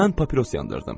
Mən papiros yandırdım.